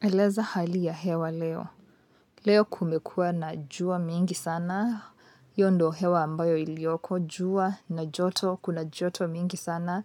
Eleza hali ya hewa leo, leo kumekua na jua mingi sana hiyo ndio hewa ambayo ilioko jua na joto kuna joto mingi sana